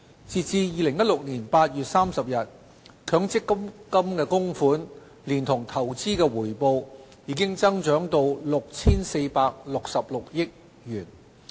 截至2016年8月，強積金供款連同投資回報已增長至 6,466 億元。